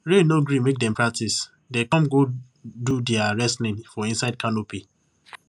rain no gree make dem practice dem come go do dia wrestling for inside canopy